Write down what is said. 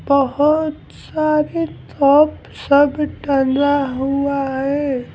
बहुत सारे टॉप सब टना हुआ है।